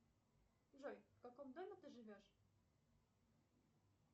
джой в каком доме ты живешь